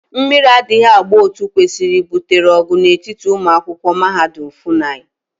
Mmiri adaghi agba Otu okwesiri gbutere ogu n'etiti umuakwokwu mahadum FUNAI.